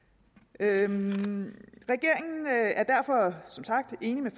regeringen er derfor som sagt enig med